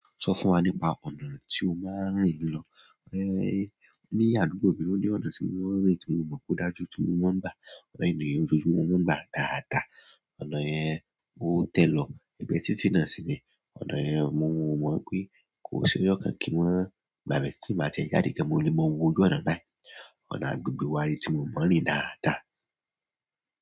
Sọ fún wa nípa ọ̀nà tí o máa ń rìn lọ. Ní àdúgbò mi ò ní ọ̀nà tí mo máa ń rìn tí mo mọ̀ pé ó dájú tí mo máa ń gbá àwọn ènìyàn ojoojúmọ́ mo ngbá dàádaà. Ọ̀nà yẹn ó tẹ́ lọ egbẹ̀ títí náà sí ni. Ọ̀nà yẹn mo mọ̀ pé kò ṣe ọ́jọ̀ kí wọ́n gba bẹ́ẹ̀ tí mbá tiẹ jáde gaan mo lè mọ owó ojú ọ̀nà náà. Ọ̀nà àdúgbò wa ni tí mo máa ń rìn dáadáa.